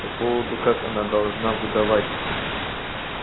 по поводу как она должна выдавать